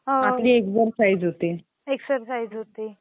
आपली एक्सरसाइज होते